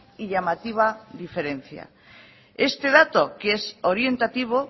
y llamativa diferencia este dato que es orientativo